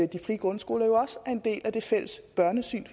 de frie grundskoler også er en del af det fælles børnesyn